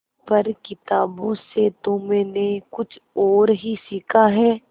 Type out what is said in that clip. पर किताबों से तो मैंने कुछ और ही सीखा है